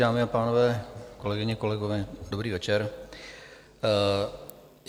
Dámy a pánové, kolegyně, kolegové, dobrý večer.